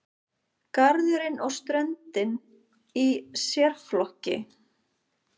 Garðurinn og ströndin í sérflokki.